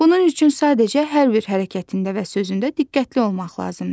Bunun üçün sadəcə hər bir hərəkətində və sözündə diqqətli olmaq lazımdır.